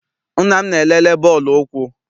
Nna m na-elele bọọlụ ụkwụ.